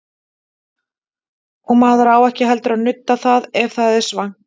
Og maður á ekki heldur að nudda það ef það er svangt.